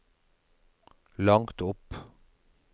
langt opp